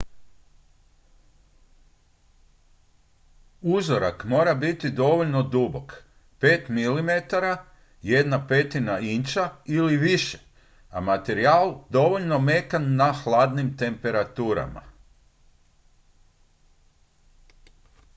uzorak mora biti dovoljno dubok 5 mm 1/5 inča ili više a materijal dovoljno mekan na hladnim temperaturama